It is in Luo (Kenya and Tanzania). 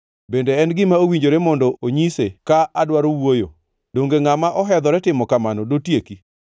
Bende en gima owinjore mondo onyise ka adwaro wuoyo? Donge ngʼama ohedhore timo kamano dotieki?